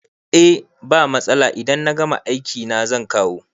Eh ba matsala idan na gama aiki na zan kawo